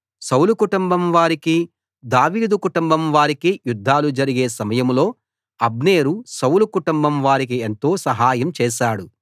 సౌలు కుటుంబం వారికీ దావీదు కుటుంబం వారికీ యుద్ధాలు జరిగే సమయంలో అబ్నేరు సౌలు కుటుంబం వారికి ఎంతో సహాయం చేశాడు